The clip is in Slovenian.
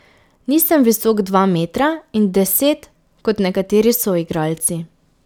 Nisem visok dva metra in deset kot nekateri soigralci.